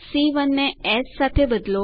c 1 ને S સાથે બદલો